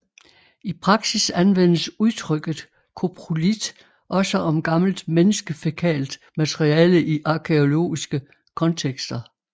I praksis anvendes udtrykket koprolit også om gammelt menneskefækalt materiale i arkæologiske kontekster